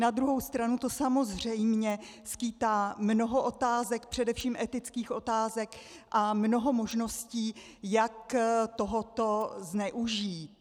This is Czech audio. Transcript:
Na druhou stranu to samozřejmě skýtá mnoho otázek, především etických otázek, a mnoho možností, jak tohoto zneužít.